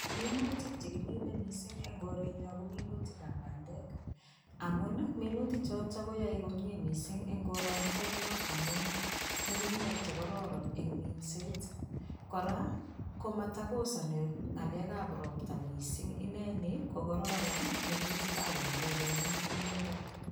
Minutik chekimine mising en korenyon ko minutikab bandek amuun minuti choton koyoe komnye mising en koronoto nyoon amun ng'ung'unyek chekororon en minset, kora komotokosoni ng'alekab robta mising inee nii ko kororon minutikab bandek kemin en yutok.